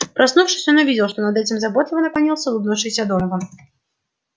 проснувшись он увидел что над ним заботливо наклонился улыбающийся донован